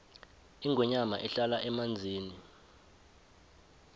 ingwenya ihlala emanzini